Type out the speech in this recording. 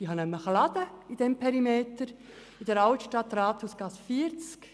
Ich habe nämlich einen Laden in der Altstadt an der Rathausgasse 40.